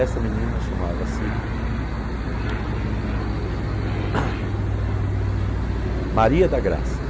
Essa menina chamava-se peraí peraí peraí Maria da Graça.